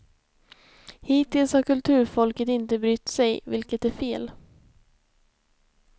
Hittills har kulturfolket inte brytt sig, vilket är fel.